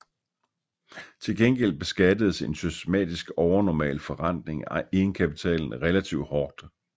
Til gengæld beskattedes en systematisk overnormal forrentning af egenkapitalen relativt hårdt